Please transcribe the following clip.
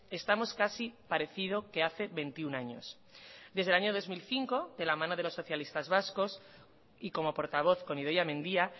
estamos casi parecido que hace veintiuno años desde el año dos mil cinco de la mano de los socialistas vascos y como portavoz con idoia mendia